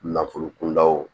Nafolo kundaw